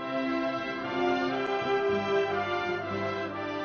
Herr Präsident der Republik Lettland, sehr geehrter